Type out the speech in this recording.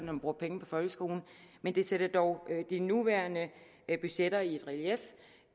man bruger penge på folkeskolen men det sætter dog de nuværende budgetter i relief